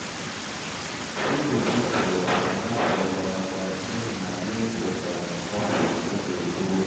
fungus mebiri opupa n’afọ gara aga n’ihi na anyị fesa’ra ọgwụ oge gboo